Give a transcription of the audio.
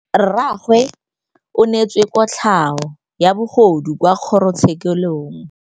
Rragwe o neetswe kotlhaô ya bogodu kwa kgoro tshêkêlông.